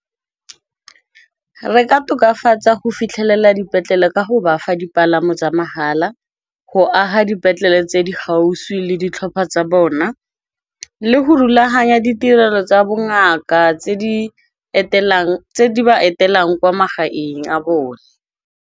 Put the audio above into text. Re ka tokafatsa go fitlhelela dipetlele ka go bafa dipalamo tsa mahala, go aga dipetlele tse di gaufi le ditlhopha tsa bona, le go rulaganya ditirelo tsa bongaka tse di ba etelelang kwa magaeng a bone.